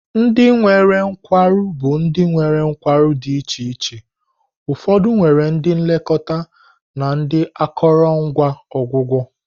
Ndị nwere nkwarụ bụ ndị nwere nkwarụ di iche iche, ụfọdụ nwere ndị nlekọta na akụrụngwa ọgwụgwọ.